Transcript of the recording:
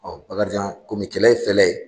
Bakarijan kɔmi kɛlɛ ye fɛlɛ ye